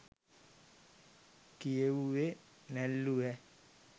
කියෙවුවෙ නැල්ලු ඈ